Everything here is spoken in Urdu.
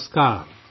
نمسکار